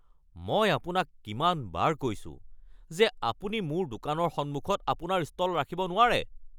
মই আপোনাক কিমানবাৰ কৈছো যে আপুনি মোৰ দোকানৰ সন্মুখত আপোনাৰ ষ্টল ৰাখিব নোৱাৰে? (দোকানী)